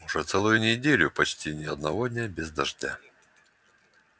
уже целую неделю почти ни одного дня без дождя